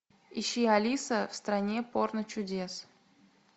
ищи алиса в стране порночудес